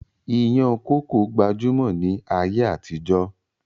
Ìyàn kókó gbajúmọ̀ ni ayé àtijọ́